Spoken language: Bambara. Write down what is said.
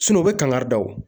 Sinɔn u be kangari da o